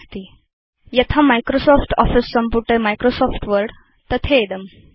7 000027 000026 यथा Microsoft Office सम्पुटे Microsoft Word तथेदम्